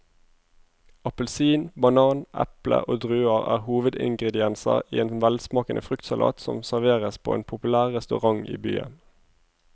Appelsin, banan, eple og druer er hovedingredienser i en velsmakende fruktsalat som serveres på en populær restaurant i byen.